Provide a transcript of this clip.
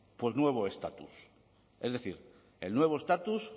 nuevo estatus es decir el nuevo estatus